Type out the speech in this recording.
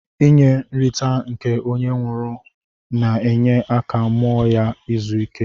Inye nrita nke onye nwụrụ na enye aka mụọ ya izụ ike.